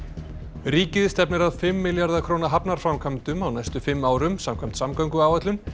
ríkið stefnir að fimm milljarða króna hafnarframkvæmdum á næstu fimm árum samkvæmt samgönguáætlun